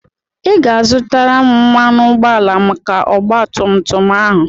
Ị ga-azụta mmanụ ụgbọala maka ọgba tum tum ahụ.